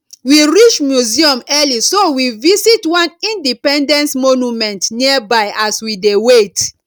we reach museum early so we visit one independence monument nearby as we dey wait